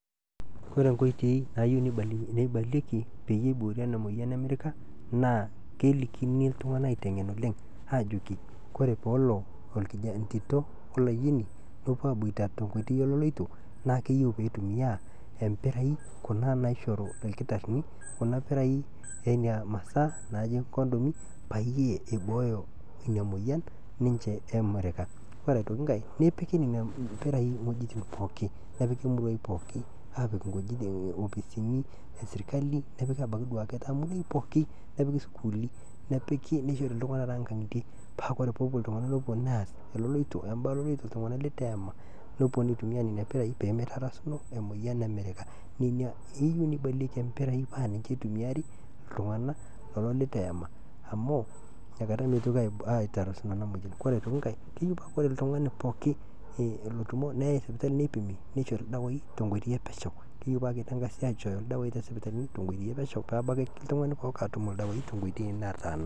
Ore enkoitoi naayeu neibalieki peiye eboori ena moyian e mirrika naa kelikin ltunganak aitengen oleng aajoki ore peelo entito olaiyieni nepo aabuata te nkoitoi oleiloto naa keyeu peitumiyaa empiraii naisharu irkitarini kuna piraii eina masaa naaji kondomi payie eibooyo nenia imoyian ninche e mirrika, ore aitoki inkae nepiki nenia pirai wejitin pooki, nepiki muruai pookin aapik opisini eserikali nepiki abaki taake duake wejitin pooki nepiki sukulini, nepiki neishori ltunganak too inkang'itie paa kore tenepo ltunganak neas eloloito embarare oltungana leitu eema nepo neitumia nenia piraii peemeitarasuno ina moyian e mirrika, nenia eyeu neibalieki empirai paa ninye eitumiyiari ltunganak kulo leitu eema amu inakata meitoki aitarasuno ana imoyian, ore aitoki inkae keyiu paa ore ltungani pookin lotumo neei sipitali neipimi neishori irdawai te nkoitoi epesheu, keteu paa keitangasi aichoo irdawai te inkoitoi epesheu peebaki ltungani pooki atum irdawai te nkoitoi nataana.